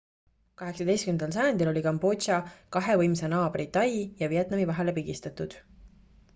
18 sajandil oli kambodža kahe võimsa naabri tai ja vietnami vahele pigistatud